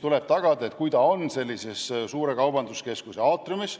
Kui hääletamisruum asub suure kaubanduskeskuse aatriumis,